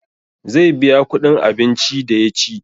Zai biya kuɗin abinci da ya ci